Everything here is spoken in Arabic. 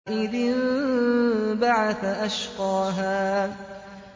إِذِ انبَعَثَ أَشْقَاهَا